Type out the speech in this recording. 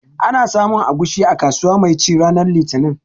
Ana samun agushi a kasuwa mai ci ranar litinin